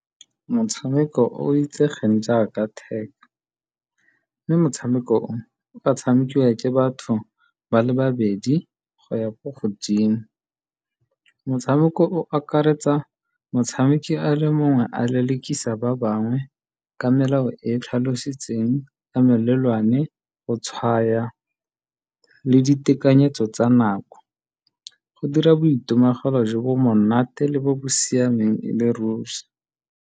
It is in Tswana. Motshameko itsegeng jaaka tag ke motshameko o o ka tshamekiwang ke batho ba le babedi go ya ko godimo. Motshameko o akaretsa motshameki a le mongwe a lelekisa ba bangwe ka melao e tlhalositsweng ka melelwane, go tshwaya le ditekanyetso tsa nako. Go dira boitemogelo jo bo monate le bo bo siameng le ruri.